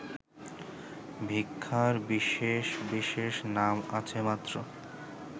ভিক্ষার বিশেষ বিশেষ নাম আছে মাত্র